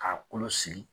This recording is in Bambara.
K'a kolo sigi